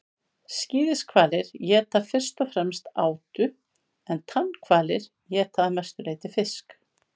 skíðishvalir éta fyrst og fremst átu en tannhvalir éta að mestu leyti fisk